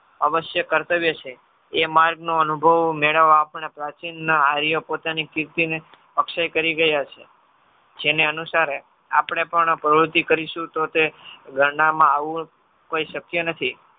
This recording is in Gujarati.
અવશ્ય કર્તવ્ય છે. એ માર્ગનો અનુભવ મેળવવા આપણે પ્રાચીનના આર્ય પોતાની સ્થિતિને અક્ષય કરી ગયા છે. જેને અનુસાર આપણે પણ પ્રવુતિ કરીશુ તો તે ગણનામાં આવવું કોઈ શક્ય નથી.